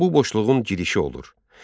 Bu boşluğun girişi olur.